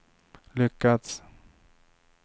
lyckats